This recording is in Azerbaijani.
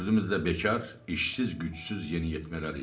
Dördümüz də bekar, işsiz, gücsüz yeniyetmələr idik.